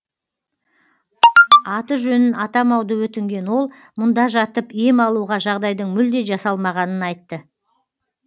аты жөнін атамауды өтінген ол мұнда жатып ем алуға жағдайдың мүлде жасалмағанын айтты